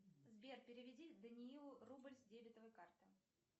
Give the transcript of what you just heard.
сбер переведи даниилу рубль с дебетовой карты